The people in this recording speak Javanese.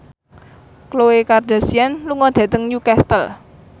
Khloe Kardashian lunga dhateng Newcastle